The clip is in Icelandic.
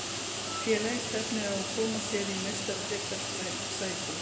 Félagið stefnir á að koma sér í Meistaradeildarsæti.